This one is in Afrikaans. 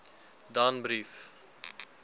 danbrief